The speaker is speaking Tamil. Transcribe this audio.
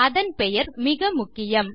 அதன் பெயர் மிக முக்கியம்